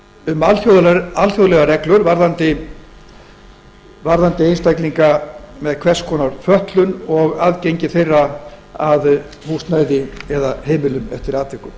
um alþjóðlegar reglur varðandi einstaklinga með hvers konar fötlun og aðgengi þeirra að húsnæði eða heimilum eftir atvikum